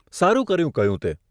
સારું કર્યું કહ્યું તે